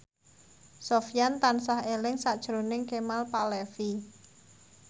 Sofyan tansah eling sakjroning Kemal Palevi